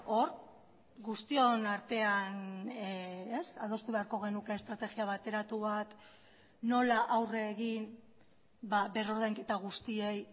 hor guztion artean adostu beharko genuke estrategia bateratu bat nola aurre egin berrordainketa guztiei